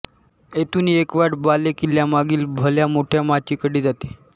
येथून एक वाट बालेकिल्ल्यामागील भल्या मोठ्या माचीकडे जाते